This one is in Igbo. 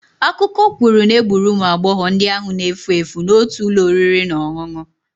Akụkọ kwuru na egburu ụmụ agbọghọ ndị ahụ na-efu efu n'otu ụlọ oriri na ọṅụṅụ.